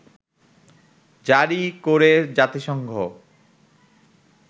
জারি করে জাতিসংঘ